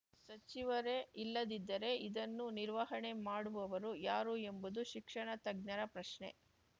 ಸಚಿವರೇ ಇಲ್ಲದಿದ್ದರೆ ಇದನ್ನು ನಿರ್ವಹಣೆ ಮಾಡುವವರು ಯಾರು ಎಂಬುದು ಶಿಕ್ಷಣ ತಜ್ಞರ ಪ್ರಶ್ನೆ